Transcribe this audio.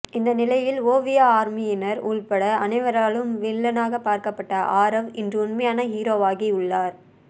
இந்த நிலையில் ஓவியா ஆர்மியினர் உள்பட அனைவராலும் வில்லனாக பார்க்கப்பட்ட ஆரவ் இன்று உண்மையான ஹீரோவாகி உள்ளார்